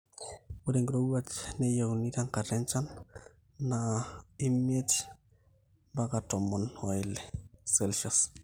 ore enkirowuaj neyieuni tenkata enchan naa imiet-tomon oile.c